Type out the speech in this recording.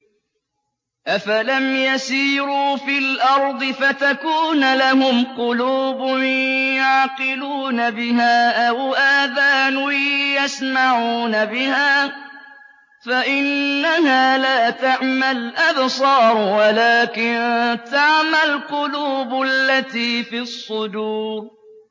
أَفَلَمْ يَسِيرُوا فِي الْأَرْضِ فَتَكُونَ لَهُمْ قُلُوبٌ يَعْقِلُونَ بِهَا أَوْ آذَانٌ يَسْمَعُونَ بِهَا ۖ فَإِنَّهَا لَا تَعْمَى الْأَبْصَارُ وَلَٰكِن تَعْمَى الْقُلُوبُ الَّتِي فِي الصُّدُورِ